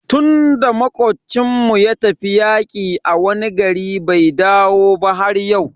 Tunda makocin mu ya tafi yaƙi a wani gari bai dawo ba har yau.